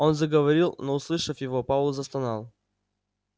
он заговорил но услышав его пауэлл застонал